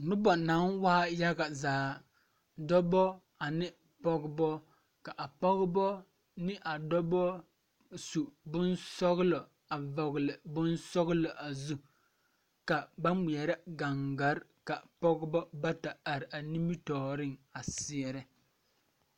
Noba naŋ waa yaga zaa dɔba ane pɔgeba ka a pɔgeba ne a dɔba su boŋsɔglɔ a vɔgle a boŋ sɔglɔ a zu ka ba ŋmeɛrɛ gaŋgare ka pɔgeba bata are a nimitɔɔriŋ a seɛrɛ.